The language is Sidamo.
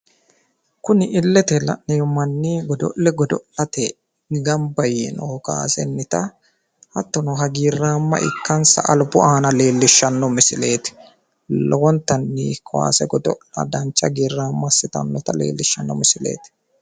Kuni illete la'neemmo manni godo'le gido'late gamba yiinoho kaasennita hattono hagiirraamma ikkansa albu aana leellishshanno misileeti. Lowonta kaase godo'la dancha hagiirraamo assitannota leellishshanno misileeti.